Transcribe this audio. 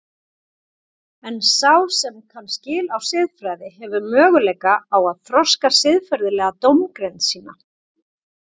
En sá sem kann skil á siðfræði hefur möguleika á að þroska siðferðilega dómgreind sína.